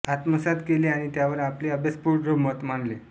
आत्मसात केले आणि त्यावर आपले अभ्यासपूर्ण मत मांडले